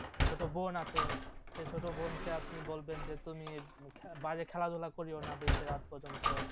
ছোটো বোন আছে সে ছোটো বোনকে আপনি বলবেন যে তুমি বাইরে খেলাধুলা করিয়ো না বেশি রাত পর্যন্ত